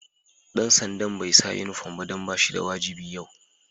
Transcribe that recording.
Dan sanda'n bai sa uniform ba dan ba shi da wajibi yau.